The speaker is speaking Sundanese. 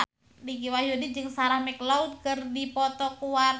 Dicky Wahyudi jeung Sarah McLeod keur dipoto ku wartawan